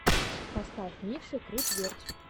поставь миксы круть верть